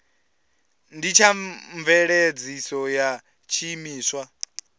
ndi tsha mveledziso ya tshiimiswa